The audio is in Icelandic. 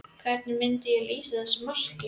Hvernig myndi hann lýsa þessu marki?